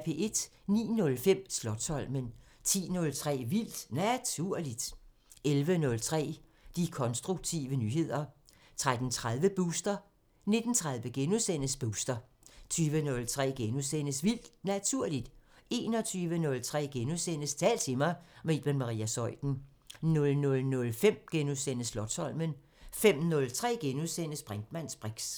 09:05: Slotsholmen 10:03: Vildt Naturligt 11:03: De konstruktive nyheder 13:30: Booster 19:30: Booster * 20:03: Vildt Naturligt * 21:03: Tal til mig – med Iben Maria Zeuthen * 00:05: Slotsholmen * 05:03: Brinkmanns briks *